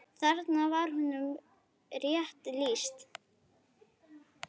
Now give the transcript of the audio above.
Þarna var honum rétt lýst.